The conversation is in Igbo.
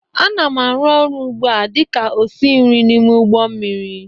Ana m arụ ọrụ ugbu a dị ka osi nri n'ime ụgbọ mmiri